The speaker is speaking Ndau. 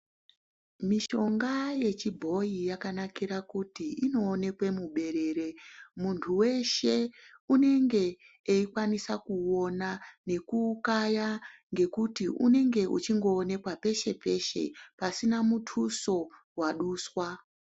Mishonga yechibhoyi yakanakira kuti inoonekwe muberere munhu weshe unenge eikwanise kuona nekukaya ngekuti unenge wechindoonekwe peshe-peshe pasina muduso waduswa.